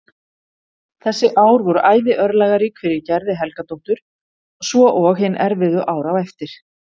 Þessi ár voru æði örlagarík fyrir Gerði Helgadóttur svo og hin erfiðu ár á eftir.